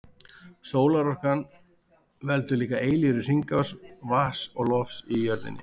Sólarorkan veldur líka eilífri hringrás vatns og lofts á jörðinni.